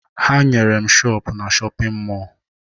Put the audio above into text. Ha nyere m shọọpụ na shọpịn mọọ